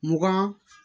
Mugan